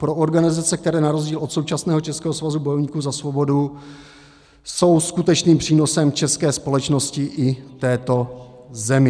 Pro organizace, které na rozdíl od současného Českého svazu bojovníků za svobodu, jsou skutečným přínosem české společnosti i této zemi.